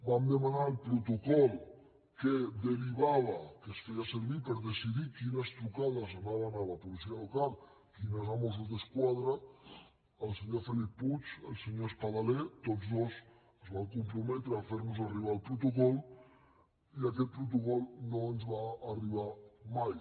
vam demanar el protocol que derivava que es feia sevir per decidir quines trucades anaven a la policia local quines a mossos d’esquadra el senyor felip puig el senyor espadaler tots dos es van comprometre a fer nos arribar el protocol i aquest protocol no ens va arribar mai